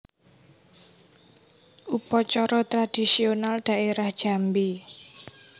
Upacara Tradisional Daerah Jambi